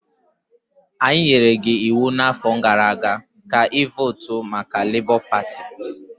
Anyị nyere gị iwu n'afọ gara aga ka ị votu maka pati Labour.